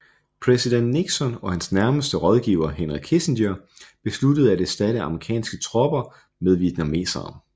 Præsident Nixon og hans nærmeste rådgiver Henry Kissinger besluttede at erstatte amerikanske tropper med vietnamesere